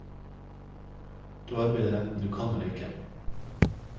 Du arbeider enten du kan eller ikke.